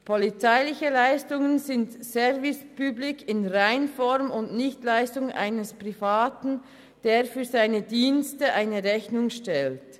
Polizeiliche Leistungen sind Service public in Reinform und nicht Leistungen eines Privaten, der für seine Dienste eine Rechnung stellt.